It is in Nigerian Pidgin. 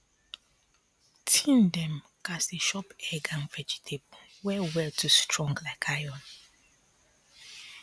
teen dem gats dey shop egg and vegetable well well to strong like iron